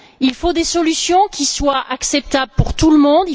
Il faut des solutions qui soient acceptables pour tout le monde.